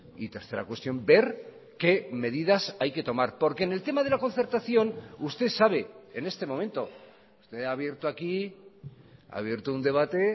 y tercera cuestión ver qué medidas hay que tomar porque en el tema de la concertación usted sabe en este momento usted ha abierto aquí ha abierto un debate